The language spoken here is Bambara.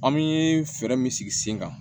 An bɛ fɛɛrɛ min sigi sen kan